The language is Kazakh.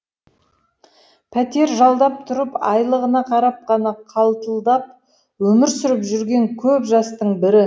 пәтер жалдап тұрып айлығына қарап қана қалтылдап өмір сүріп жүрген көп жастың бірі